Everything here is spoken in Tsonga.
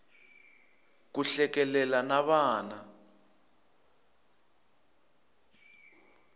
ku hlekelela na vana